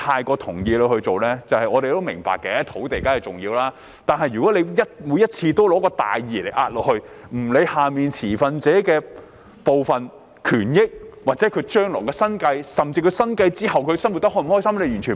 我們固然明白土地的重要性，但如果政府每次都用大義壓人，毫不理會持份者的權益、生計或生活開心與否，這做法同樣有欠妥善。